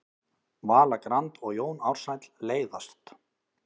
Vala Grand og Jón Ársæll leiðast